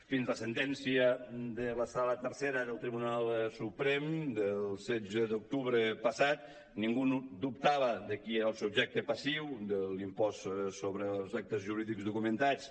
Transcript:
fins la sentència de la sala tercera del tribunal suprem del setze d’octubre passat ningú no dubtava de qui era el subjecte passiu de l’impost sobre els actes jurídics documentats